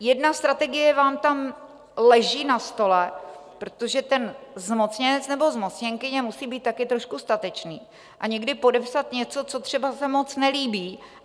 Jedna strategie vám tam leží na stole, protože ten zmocněnec nebo zmocněnkyně musí být také trošku statečný a někdy podepsat něco, co se třeba moc nelíbí.